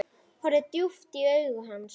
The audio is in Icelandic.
Horfi djúpt í augu hans.